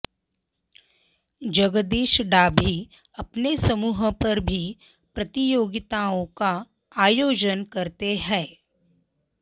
जगदीश डाभी अपने समूह पर भी प्रतियोगिताओं का आयोजन करते हैं